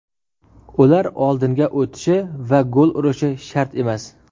Ular oldinga o‘tishi va gol urishi shart emas.